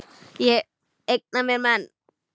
Ég eigna mér menn.